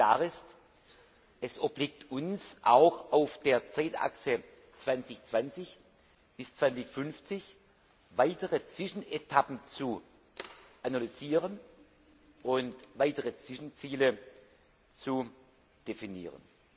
Klar ist, es obliegt uns auch auf der Zeitachse 2020 bis 2050, weitere Zwischenetappen zu analysieren und weitere Zwischenziele zu definieren.